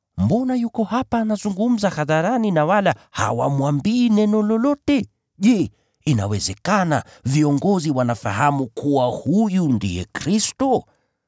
Mbona yuko hapa anazungumza hadharani na wala hawamwambii neno lolote? Je, inawezekana viongozi wanafahamu kuwa huyu ndiye Kristo?